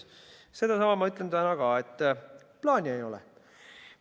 Sedasama ma ütlen täna ka: plaani ei ole.